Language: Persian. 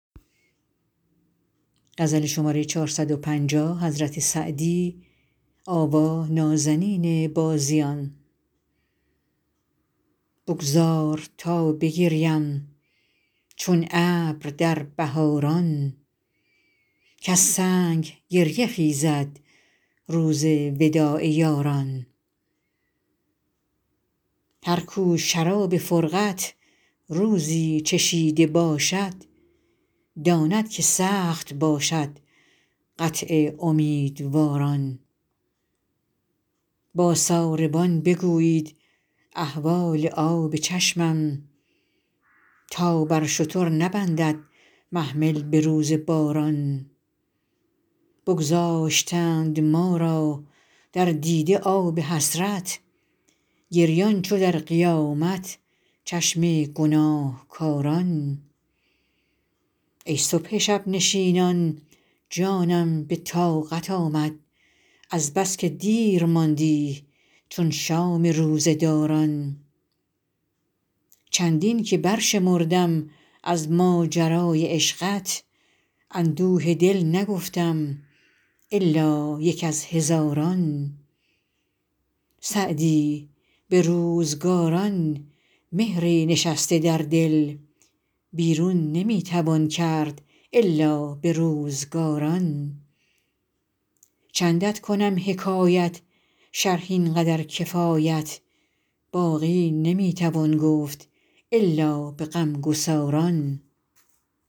بگذار تا بگرییم چون ابر در بهاران کز سنگ گریه خیزد روز وداع یاران هر کو شراب فرقت روزی چشیده باشد داند که سخت باشد قطع امیدواران با ساربان بگویید احوال آب چشمم تا بر شتر نبندد محمل به روز باران بگذاشتند ما را در دیده آب حسرت گریان چو در قیامت چشم گناهکاران ای صبح شب نشینان جانم به طاقت آمد از بس که دیر ماندی چون شام روزه داران چندین که برشمردم از ماجرای عشقت اندوه دل نگفتم الا یک از هزاران سعدی به روزگاران مهری نشسته در دل بیرون نمی توان کرد الا به روزگاران چندت کنم حکایت شرح این قدر کفایت باقی نمی توان گفت الا به غمگساران